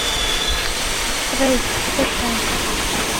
рейк закачай